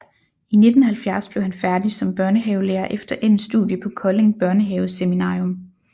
I 1970 blev han færdig som børnehavelærer efter endt studie på Kolding Børnehaveseminarium